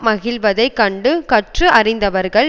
மகிழ்வதைக் கண்டு கற்று அறிந்தவர்கள்